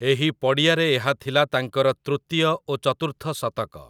ଏହି ପଡ଼ିଆରେ ଏହା ଥିଲା ତାଙ୍କର ତୃତୀୟ ଓ ଚତୁର୍ଥ ଶତକ ।